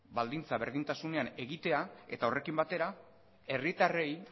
baldintza berdintasunean egitea eta horrekin batera herritarrei